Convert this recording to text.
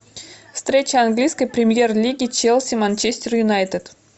встреча английской премьер лиги челси манчестер юнайтед